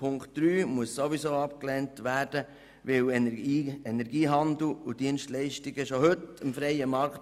Ziffer 3 muss ohnehin abgelehnt werden, denn Energiehandel und Dienstleistungen unterstehen bereits heute dem freien Markt.